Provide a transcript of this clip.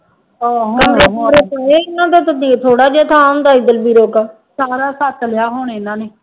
ਥੋੜ੍ਹਾ ਜਿਹਾ ਤਾ ਦਲਬੀਰੋ ਕਾ, ਸਾਰਾ ਛੱਤ ਲਿਆ ਹੁਣ ਇਹਨਾ ਨੇ